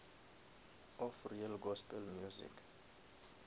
of real gospel music